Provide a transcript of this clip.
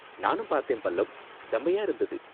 நானும் பார்த்தேன் பல்லவ்! செமயா இருந்தது.